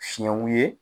Fiɲɛw ye